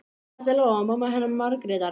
Þetta er Lóa, mamma hennar Margrétar.